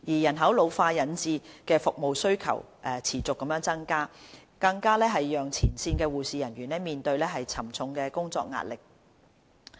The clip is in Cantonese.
人口老化引致服務需求持續增加，更讓前線的護理人員面對沉重的工作壓力。